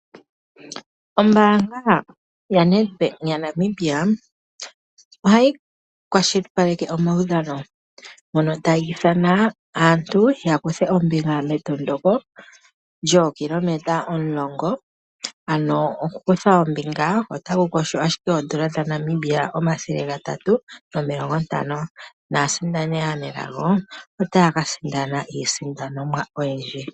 Ombaanga yaNedbank yaNamibia ohayi kwashilipaleka omawudhano ngono taga ithana aantu ya kuthe ombinga metondoko lyoo km 10, ano oku kutha ombinga otaku kosho ashike oondola dhaNamibia 350 naasindani aanelago otaya ka sindana iisindanomwa oyindji.